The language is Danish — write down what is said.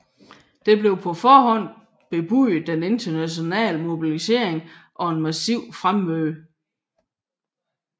Der blev på forhånd bebudet en international mobilisering og et massivt fremmøde